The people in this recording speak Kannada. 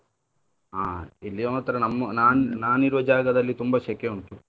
ಹಾ ಇಲ್ಲಿ ಮಾತ್ರ ನಮ್~ ನಾನ್ ನಾನ್ ಇರುವ ಜಾಗದಲ್ಲಿ ತುಂಬಾ ಶೆಕೆ ಉಂಟು.